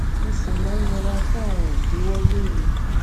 mo sì máa ń yẹra fún àwọn ìdíwọ lóru